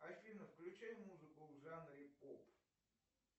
афина включай музыку в жанре поп